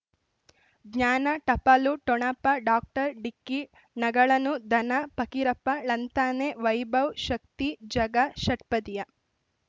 ಜ್ಞಾನ ಟಪಾಲು ಠೊಣಪ ಡಾಕ್ಟರ್ ಢಿಕ್ಕಿ ಣಗಳನು ಧನ ಫಕೀರಪ್ಪ ಳಂತಾನೆ ವೈಭವ್ ಶಕ್ತಿ ಝಗಾ ಷಟ್ಪದಿಯ